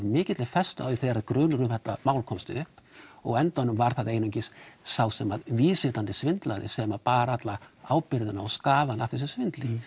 mikilli festu á því þegar grunur um þetta mál komst upp og á endanum var það einungis sá sem að vísvitandi svindlaði sem að bar alla ábyrgðina og skaðann af þessu svindli